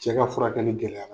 Cɛ ka furakɛli gɛlɛyara.